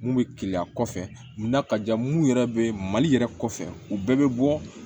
Mun bɛ keleya kɔfɛ mun na ka jan mun yɛrɛ bɛ mali yɛrɛ kɔfɛ u bɛɛ bɛ bɔ